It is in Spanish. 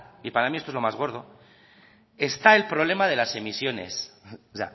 y para mí esto es lo más gordo está el problema de las emisiones o